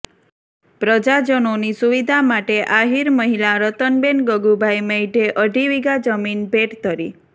પ્રજાજનોની સુવિધા માટે આહિર મહિલા રતનબેન ગગુભાઈ મૈઢે અઢી વીઘા જમીન ભેંટ ધરી